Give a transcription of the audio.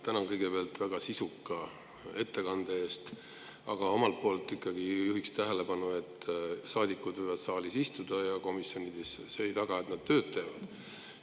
Tänan kõigepealt väga sisuka ettekande eest, aga omalt poolt ikkagi juhin tähelepanu, et saadikud võivad küll saalis ja komisjonides istuda, aga see ei taga, et nad tööd teevad.